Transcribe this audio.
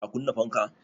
Ka kunna fanka?